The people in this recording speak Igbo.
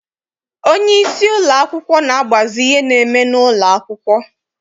Onyeisi ụlọakwụkwọ na-agbazi ihe na-eme n'ụlọ akwụkwọ.